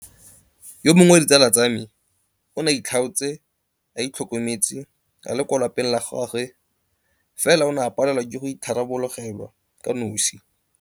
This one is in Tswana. Yo mongwe wa ditsala tsa me o ne a itlhaotse a itlhokometse a le kwa lapeng la gagwe fela o ne a palelwa ke go itharabologelwa kanosi.